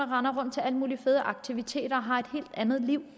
render rundt til alle mulige fede aktiviteter og har et helt andet liv